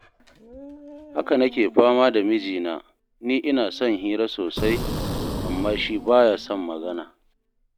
Haka nake fama da mijina, ni ina son hira sosai, amma shi ba ya son magana